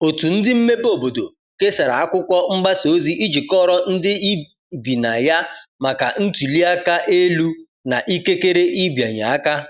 otu ndi mmebe obodo kesara akwụkwo mgbasa ozi iji kọoro ndi ibi na ya maka ntuli aka elu na ikekere ịbịanye aka